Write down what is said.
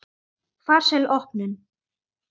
Farsæl opnun.